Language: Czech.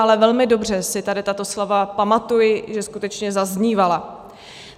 Ale velmi dobře si tady tato slova pamatuji, že skutečně zaznívala.